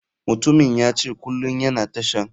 Mutumin yace kulum yana tashan.